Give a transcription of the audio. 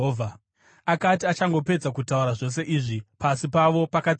Akati achangopedza kutaura zvose izvi, pasi pavo pakatsemuka